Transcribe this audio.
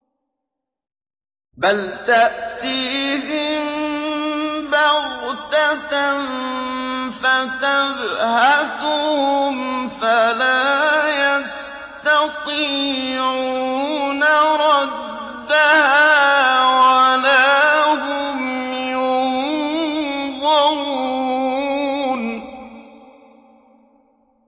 بَلْ تَأْتِيهِم بَغْتَةً فَتَبْهَتُهُمْ فَلَا يَسْتَطِيعُونَ رَدَّهَا وَلَا هُمْ يُنظَرُونَ